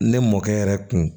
Ne mɔkɛ yɛrɛ kun